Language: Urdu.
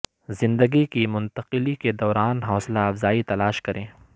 زندگی کی منتقلی کے دوران حوصلہ افزائی تلاش کریں